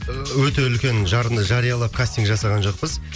ыыы өте үлкен жарынды жариялап кастинг жасаған жоқпыз